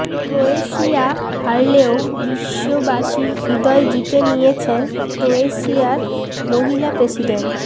Croatia হারলেও বিশ্ববাসীর হৃদয় জিতে নিয়েছেন ক্রোয়েশিয়ার মহিলা প্রেসিডেন্ট